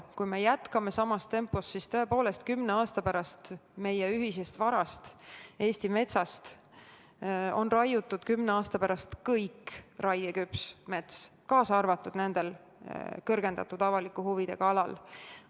Kui me jätkame samas tempos, siis tõepoolest, kümne aasta pärast on meie ühisest varast, Eesti metsast raiutud kõik raieküpsed puud, kaasa arvatud kõrgendatud avaliku huviga aladel.